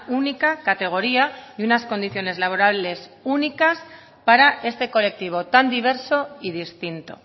única categoría y unas condiciones laborales únicas para este colectivo tan diverso y distinto